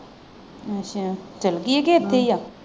ਅੱਛਾ ਚੱਲ ਗਈ ਹੈ ਕ ਇੱਥੇ ਹੀ ਆ?